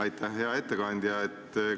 Aitäh, hea ettekandja!